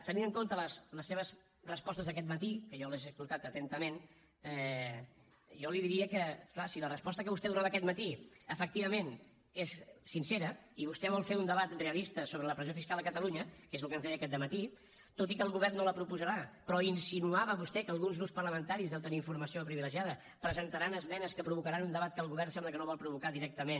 tenint en compte les seves respostes d’aquest matí que jo les he escoltades atentament jo li diria que és clar si la resposta que vostè donava aquest matí efectivament és sincera i vostè vol fer un debat realista sobre la pressió fiscal a catalunya que és el que ens deia aquest dematí tot i que el govern no la proposarà però insinuava vostè que alguns grups parlamentaris deu tenir informació privilegiada presentaran esmenes que provocaran un debat que el govern sembla que no vol provocar directament